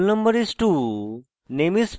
roll no is: 2